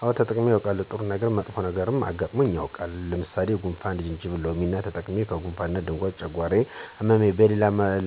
አወ ተጠቅሜ አዉቃለሁ፦ ጥሩ ነገረም መጥፎም መጥፎ ነገርም አጋጥሞ አጋጥሞኝ የዉቃል። ለምሳሌ ለጉንፍን ጅንጅብልና ሎሚ ተጠቅሜ ከጉነፋን ድኘ ጨጓራየነ አመመኝ